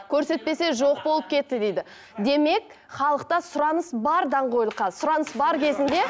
көрсетпесе жоқ болып кетті дейді демек халықта сұраныс бар даңғойлыққа сұраныс бар кезінде